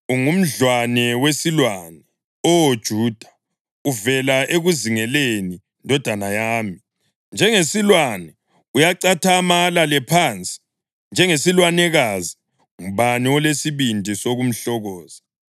Ungumdlwane wesilwane, Oh Juda; uvela ekuzingeleni, ndodana yami. Njengesilwane uyacathama alale phansi, njengesilwanekazi, ngubani olesibindi sokumhlokoza?